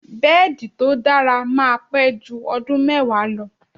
Bẹ́ẹ̀di tó dára máa pẹ́ jú ọdún mẹ́wàá lọ.